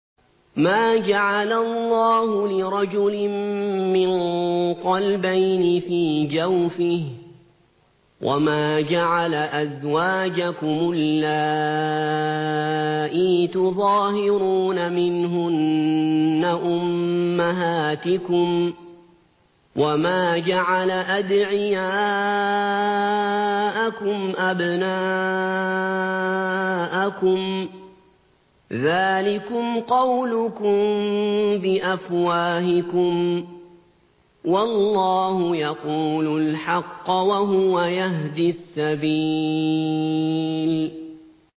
مَّا جَعَلَ اللَّهُ لِرَجُلٍ مِّن قَلْبَيْنِ فِي جَوْفِهِ ۚ وَمَا جَعَلَ أَزْوَاجَكُمُ اللَّائِي تُظَاهِرُونَ مِنْهُنَّ أُمَّهَاتِكُمْ ۚ وَمَا جَعَلَ أَدْعِيَاءَكُمْ أَبْنَاءَكُمْ ۚ ذَٰلِكُمْ قَوْلُكُم بِأَفْوَاهِكُمْ ۖ وَاللَّهُ يَقُولُ الْحَقَّ وَهُوَ يَهْدِي السَّبِيلَ